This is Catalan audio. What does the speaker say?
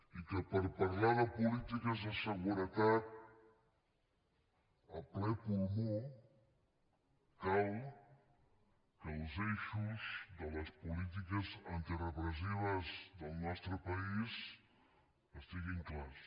i que per parlar de polítiques de seguretat a ple pulmó cal que els eixos de les polítiques antirepressives del nostre país estiguin clars